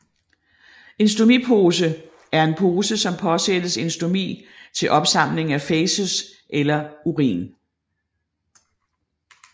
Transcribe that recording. En stomipose er en pose som påsættes en stomi til opsamling af fæces eller urin